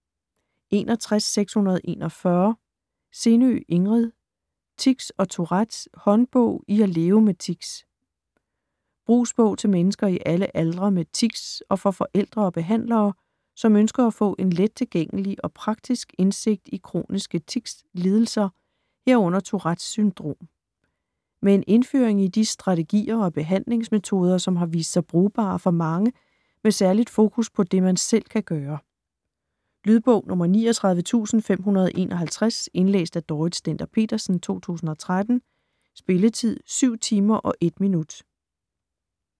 61.641 Sindø, Ingrid: Tics & Tourette: håndbog i at leve med tics Brugsbog til mennesker i alle aldre med tics og for forældre og behandlere, som ønsker at få en let tilgængelig og praktisk indsigt i kroniske ticslidelser, herunder Tourettes syndrom. Med en indføring i de strategier og behandlingsmetoder, som har vist sig brugbare for mange, med særligt fokus på det, man selv kan gøre. Lydbog 39551 Indlæst af Dorrit Stender-Petersen, 2013. Spilletid: 7 timer, 1 minutter.